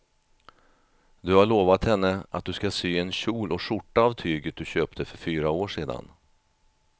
Du har lovat henne att du ska sy en kjol och skjorta av tyget du köpte för fyra år sedan.